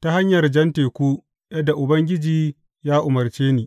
ta hanyar Jan Teku yadda Ubangiji ya umarce ni.